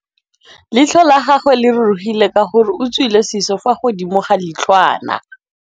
Leitlhô la gagwe le rurugile ka gore o tswile sisô fa godimo ga leitlhwana.